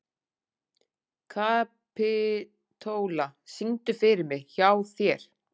Kapítóla, syngdu fyrir mig „Hjá þér“.